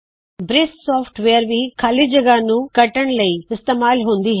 ਬ੍ਰਿਸ software ਭੀ ਖਾੱਲੀ ਜਗਹ ਨੂ ਕੱਟਣ ਲ਼ਈ ਇਸਤੇਮਾਲ ਹੁੰਦੀ ਹੈ